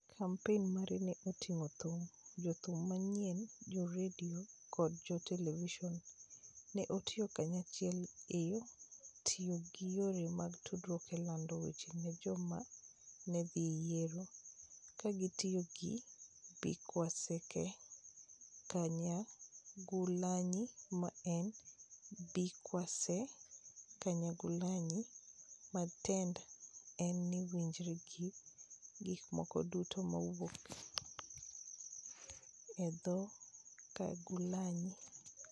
Kampen mare ne oting'o thum, jothum mang'eny, jo redio, koda jo televison, ne otiyo kanyachiel e tiyo gi yore mag tudruok e lando wachne ne joma ne dhi yiero, ka gitiyo gi #BikwaseKyagulanyi, ma en #BikwaseKyagulanyi, ma tiende en ni "winjri gi gik moko duto ma wuok e dho-Kyagulanyi".